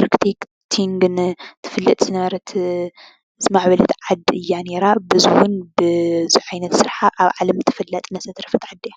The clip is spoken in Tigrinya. ኣርክትክትንግን ትፍለጥ ዝነበረት ዝማዕበለት ዓዲ እያ ነይራ፡፡ ብዙ ዓይነት ስራሓ ኣብ ዓለም ተፈላጥነት ዘትረፈት ዓዲ እያ፡፡